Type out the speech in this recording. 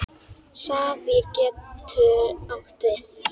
Safír getur átt við